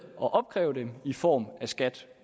at opkræve de penge i form af skat